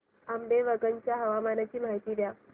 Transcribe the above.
आंबेवंगन च्या हवामानाची माहिती द्या